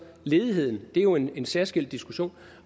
ledigheden det er jo en særskilt diskussion